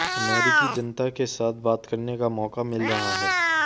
अमेरिकी जनता के साथ बात करने का मौका मिल रहा है